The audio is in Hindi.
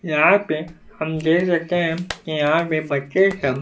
यहां पे हम देख सकते हैं कि बच्चे सब--